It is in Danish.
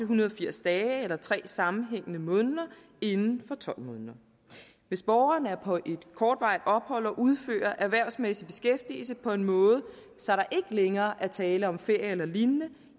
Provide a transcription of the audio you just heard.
hundrede og firs dage eller tre sammenhængende måneder inden for tolv måneder hvis borgeren er på et kortvarigt ophold og udfører erhvervsmæssig beskæftigelse på en måde så der ikke længere er tale om ferie eller lignende